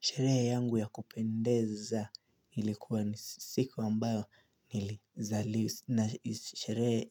Sherehe yangu ya kupendeza ilikuwa ni siku ambayo nilizali na sherehe